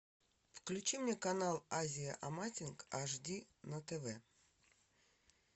включи мне канал азия амазинг аш ди на тв